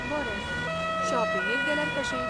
बरें, शॉपिंगेक गेल्यार कशें?